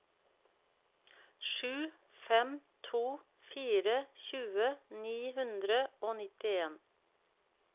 sju fem to fire tjue ni hundre og nittien